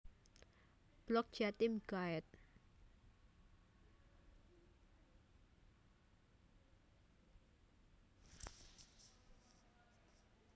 Blog Jatim Guide